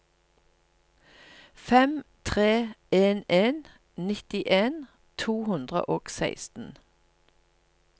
fem tre en en nittien to hundre og seksten